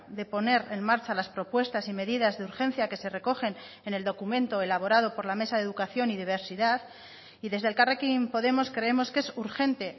de poner en marcha las propuestas y medidas de urgencia que se recogen en el documento elaborado por la mesa de educación y diversidad y desde elkarrekin podemos creemos que es urgente